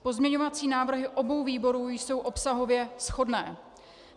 Pozměňovací návrhy obou výborů jsou obsahově shodné.